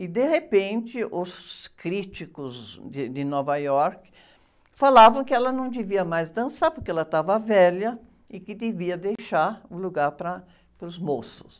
E, de repente, os críticos de, de Nova York falavam que ela não devia mais dançar porque ela estava velha e que devia deixar o lugar para, para os moços.